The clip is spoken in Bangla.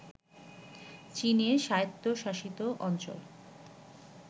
চীনের স্বায়ত্ত্বশাসিত অঞ্চল